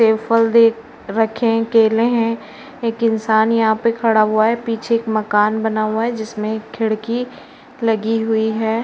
सेब फल रखे हैं केले हैं। एक इंसान यहाँ पे खड़ा हुआ है पीछे एक मकान बना हुआ है जिसमें खिड़की लगी हुई है।